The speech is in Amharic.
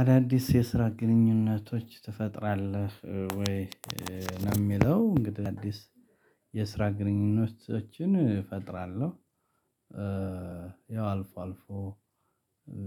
አዳዲስ የስራ ግንኙነቶች ትፈጥራለህ ወይ ነው የሚለው? እንግዲህ አዲስ የስራ ግንኙነቶችን እፈጥራለሁ። ያው አልፎ አልፎ